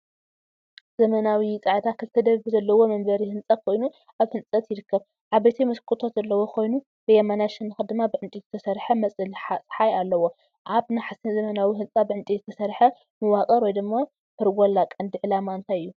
ዘመናዊ፣ ጻዕዳ፣ ክልተ ደብሪ ዘለዎ መንበሪ ህንጻ ኮይኑ ኣብ ህንጸት ይርከብ። ዓበይቲ መስኮታት ዘለዎ ኮይኑ፡ ብየማናይ ሸነኽ ድማ ብዕንጨይቲ ዝተሰርሐ መጽለሊ ጸሓይ ኣሎ። ኣብ ናሕሲ ዘመናዊ ህንጻ ብዕንጨይቲ ዝተሰርሐ መዋቕር (ፐርጎላ) ቀንዲ ዕላማ እንታይ እዩ?